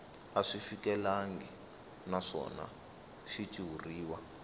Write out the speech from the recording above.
a swi fikelelangi naswona xitshuriwa